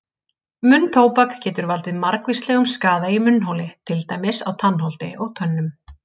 Munntóbak getur valdið margvíslegum skaða í munnholi til dæmis á tannholdi og tönnum.